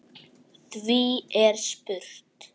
Því er spurt